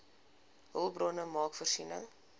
hulpbronne maak voorsiening